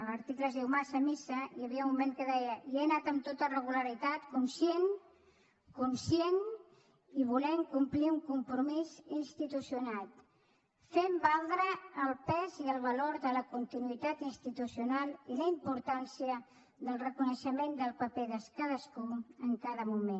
l’article es diu massa missa i hi havia un moment en què deia hi he anat amb tota regularitat conscient conscient i volent complir un compromís institucional fent valdre el pes i el valor de la continuïtat institucional i la importància del reconeixement del paper de cadascú en cada moment